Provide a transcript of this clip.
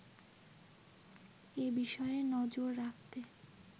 এ বিষয়ে নজর রাখতে